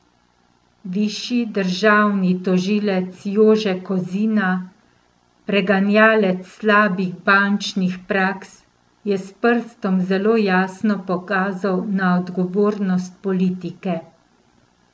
Višji državni tožilec Jože Kozina, preganjalec slabih bančnih praks, je s prstom zelo jasno pokazal na odgovornost politike.